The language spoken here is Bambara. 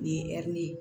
Nin ye ɛri ye